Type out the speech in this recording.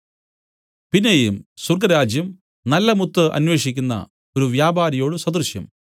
പിന്നെയും സ്വർഗ്ഗരാജ്യം നല്ല മുത്ത് അന്വേഷിക്കുന്ന ഒരു വ്യാപാരിയോട് സദൃശം